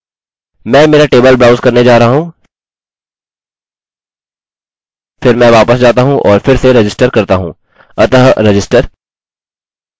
मैं मेरा table browse करने जा रहा हूँ फिर मैं वापस जाता हूँ और फिर से रजिस्टर करता हूँ